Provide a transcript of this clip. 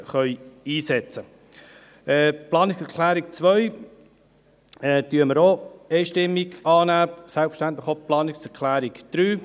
Wir nehmen auch die Planungserklärung 2 einstimmig an, selbstverständlich auch die Planungserklärung 3.